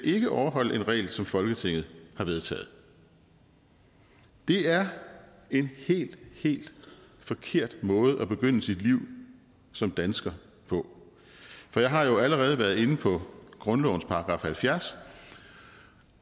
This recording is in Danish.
ikke overholde en regel som folketinget har vedtaget det er en helt helt forkert måde at begynde sit liv som dansker på jeg har jo allerede været inde på grundlovens § halvfjerds